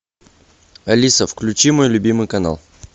алиса включи мой любимый канал